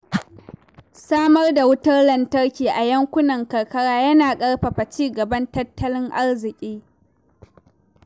Samar da wutar lantarki a yankunan karkara yana ƙarfafa ci gaban tattalin arziki.